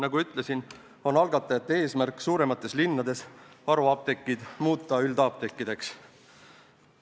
Nagu ma ütlesin, on algatajate eesmärk muuta suuremates linnades haruapteegid üldapteekideks.